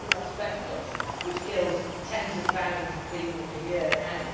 Where is asbestos, which kills tens of thousands of people a year now?